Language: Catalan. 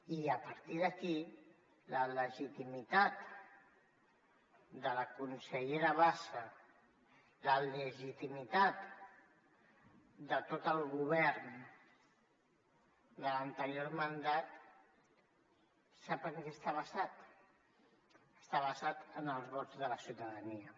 i a partir d’aquí la legitimitat de la consellera bassa la legitimitat de tot el govern de l’anterior mandat sap en què està basada està basada en els vots de la ciutadania